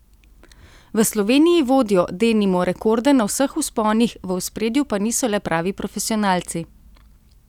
V Sloveniji vodijo, denimo, rekorde na vseh vzponih, v ospredju pa niso le pravi profesionalci.